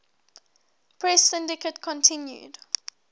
press syndicate continued